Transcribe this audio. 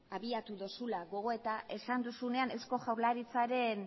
abiatu dozula gogoeta esan duzunean eusko jaurlaritzaren